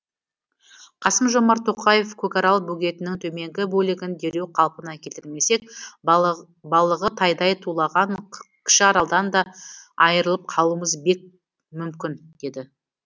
қасым жомарт тоқаев көкарал бөгетінің төменгі бөлігін дереу қалпына келтірмесек балығы тайдай тулаған кіші аралдан да айырылып қалуымыз бек мүмкін деді